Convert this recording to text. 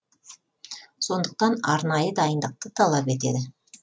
сондықтан арнайы дайындықты талап етеді